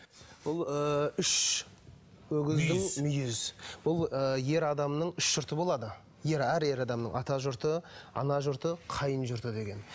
бұл ы үш өгіздің мүйіз бұл ы ер адамның үш жұрты болады әр ер адамның ата жұрты ана жұрты қайын жұрты деген